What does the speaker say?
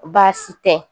Baasi tɛ